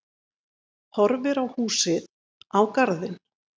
Horfir á húsið, á garðinn.